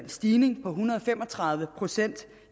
stigning på en hundrede og fem og tredive procent